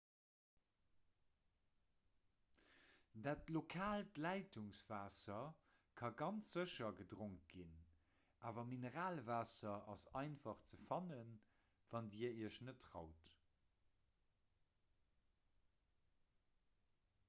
dat lokaalt leitungswaasser ka ganz sécher gedronk ginn awer mineralwaasser ass einfach ze fannen wann dir iech net traut